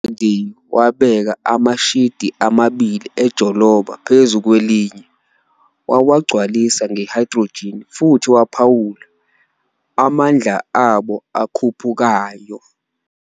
UFaraday wabeka amashidi amabili enjoloba phezu kwelinye, wawagcwalisa nge-hydrogen, futhi waphawula "amandla abo akhuphukayo".